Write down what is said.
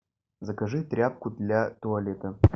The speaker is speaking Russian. закажи тряпку для туалета